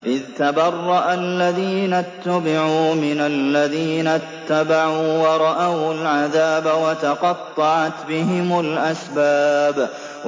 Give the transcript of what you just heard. إِذْ تَبَرَّأَ الَّذِينَ اتُّبِعُوا مِنَ الَّذِينَ اتَّبَعُوا وَرَأَوُا الْعَذَابَ وَتَقَطَّعَتْ بِهِمُ الْأَسْبَابُ